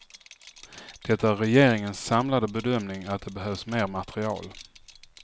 Det är regeringens samlade bedömning att det behövs mer material.